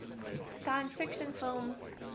science fiction films